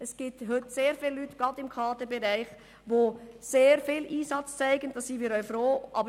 Es gibt heute gerade im Kaderbereich sehr viele Leute, die sehr viel Einsatz zeigen, worüber wir auch froh sind.